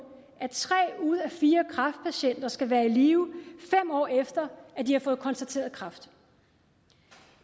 at tre ud af fire kræftpatienter skal være i live fem år efter at de har fået konstateret kræft